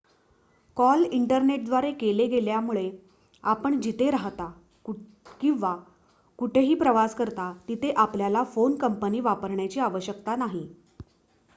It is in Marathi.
कॉल इंटरनेटद्वारे केले गेल्यामुळे आपण जिथे राहता किंवा कुठेही प्रवास करता तिथे आपल्याला फोन कंपनी वापरण्याची आवश्यकता नाही